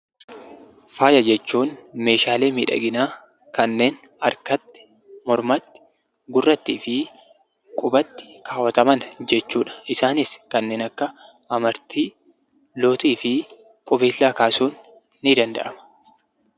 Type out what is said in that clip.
Faaya jechuun meeshaalee miidhaginaa kanneen harkatti, mormatti, gurrattii fi qubatti kaawwataman yoo jechuudha. Isaanis kanneen akka amartii, lootii fi qubeellaa kaasuun ni danda'ama.